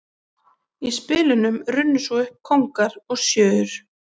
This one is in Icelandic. Í spilunum runnu svo upp kóngar og sjöur.